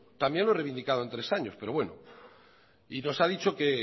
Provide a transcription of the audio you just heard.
también lo he reivindicado en tres años pero bueno y nos ha dicho que